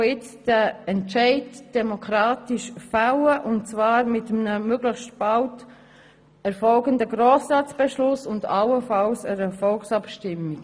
Wir sollen jetzt den Entscheid demokratisch fällen und zwar mit einem möglichst bald zu erfolgenden Beschluss des Grossen Rats und allenfalls einer Volksabstimmung.